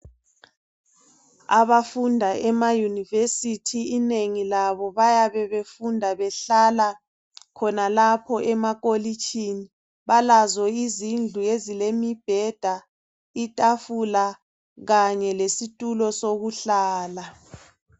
Abafunda ema yunivesithi inengi labo bayabe befunda behlala khonalapho emakolitshini. Balazo izindlu ezilemibheda, itafula kanye lesitulo sokuhlala.